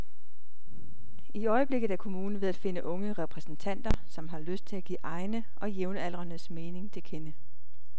I øjeblikket er kommunen ved at finde unge repræsentanter, som har lyst til at give egne og jævnaldrendes mening til kende.